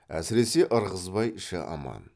әсіресе ырғызбай іші аман